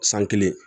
San kelen